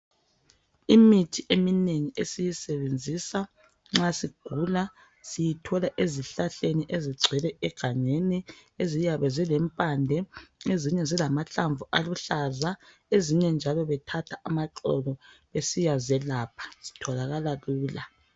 Imithi eminengi esiyisebenzisa nxa sigula , siyathola ezihlahleni ezigcwele egangeni eziyabe zilempande , ezinye zilamahlamvu aluhlaza , ezinye njalo bethatha amaxolo besiyazelapha zitholakala lula